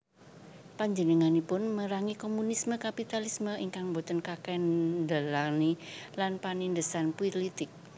Panjenenganipun merangi komunisme kapitalisme ingkang boten kakendhalèni lan panindhesan pulitik